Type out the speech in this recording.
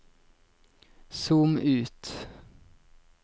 zoom ut